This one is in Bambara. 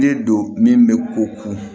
De do min bɛ ko ko